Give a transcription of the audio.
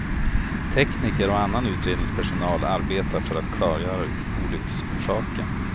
Tekniker och annan utredningspersonal arbetar för att klargöra olycksorsaken.